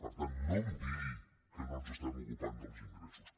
per tant no em digui que no ens ocupem dels ingressos